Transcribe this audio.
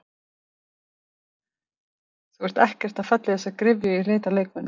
Þú ert ekkert að falla í þessa gryfju í leit að leikmönnum?